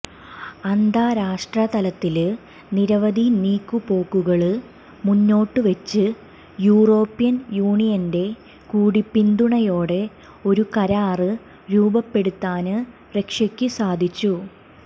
അന്താരാഷ്ട്രതലത്തില് നിരവധി നീക്കുപോക്കുകള് മുന്നോട്ട് വെച്ച് യൂറോപ്യന് യൂനിയന്റെ കൂടി പിന്തുണയോടെ ഒരു കരാര് രൂപപ്പെടുത്താന് റഷ്യക്ക് സാധിച്ചു